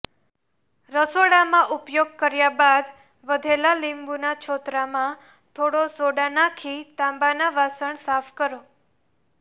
રસોડામાં ઉપયોગ કર્યા બાદ વધેલા લીંબુના છોતરામાં થોડો સોડા નાંખી તાંબાના વાસણ સાફ કરો